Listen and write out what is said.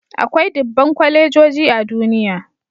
Akwai dubban kwalejoji a duniya